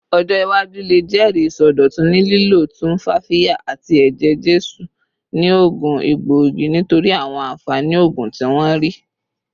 Ọjọ iwaju le jẹri isọdọtun ni lilo tumfafiya ati eje-jesu ni oogun egboigi nitori awọn anfani oogun ti wọn rii